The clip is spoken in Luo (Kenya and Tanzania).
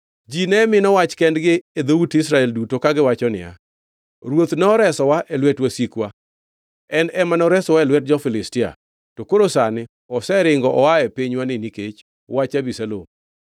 Ji ne mino wach kendgi e dhout Israel duto kagiwacho niya, “Ruoth noresowa e lwet wasikwa; en ema noresowa e lwet jo-Filistia. To koro sani oseringo oa e pinywani nikech wach Abisalom;